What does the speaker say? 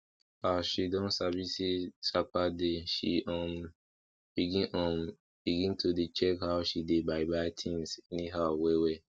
as she don sabi say sapa dey she um begin um begin to dey check how she dey buy buy tins anyhow well well